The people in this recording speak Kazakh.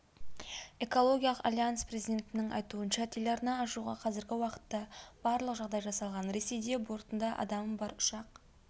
экологиялық альянс президентінің айтуынша телеарна ашуға қазіргі уақытта барлық жағдай жасалған ресейде бортында адамы бар ұшақ